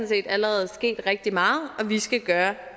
set allerede sket rigtig meget og vi skal gøre